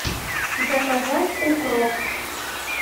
заказать укроп